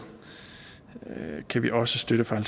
kan vi også støtte fra